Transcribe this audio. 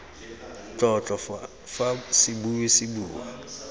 tlotlo fa sebui se bua